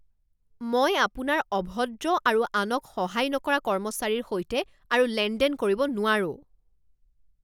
মই আপোনাৰ অভদ্ৰ আৰু আনক সহায় নকৰা কৰ্মচাৰীৰ সৈতে আৰু লেনদেন কৰিব নোৱাৰো।